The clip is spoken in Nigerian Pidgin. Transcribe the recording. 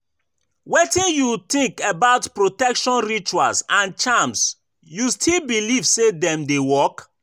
Wetin you think about protection rituals and charms, you still believe say dem dey work?